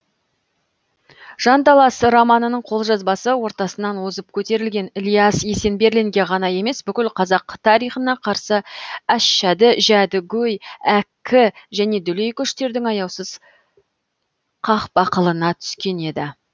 жанталас романының қолжазбасы ортасынан озып көтерілген ілияс есенберлинге ғана емес бүткіл қазақ тарихына қарсы әшшады жәдігөй әккі және дүлей күштердің аяусыз қақпақылына түскен еді